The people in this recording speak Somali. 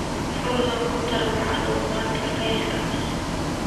Fadlan ku dar macluumaadkan faylka.